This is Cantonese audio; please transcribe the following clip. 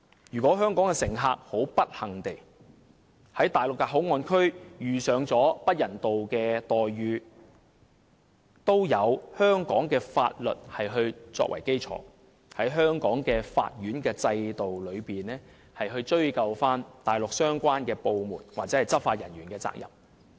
"若香港乘客不幸地在內地口岸區遇上不人道待遇，也有香港法律作為基礎，在香港的法院制度內，追究內地相關部門或執法人員的責任。